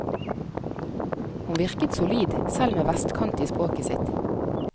Hun virket solid, selv med vestkant i språket sitt.